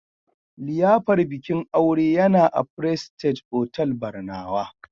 liyafar bikin aure yana a prestige otall Barnawa